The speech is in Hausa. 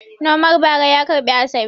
Nomar bara ya karbi Asabe.